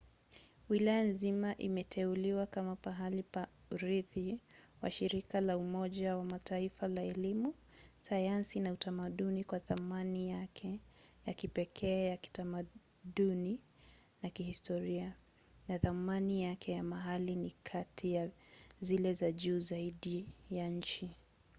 wilaya nzima imeteuliwa kama pahali pa urithi wa shirika la umoja wa mataifa la elimu sayansi na utamaduni kwa thamani yake ya kipekee ya kitamaduni na kihistoria na thamani yake ya mali ni kati ya zile za juu zaidi ya nchi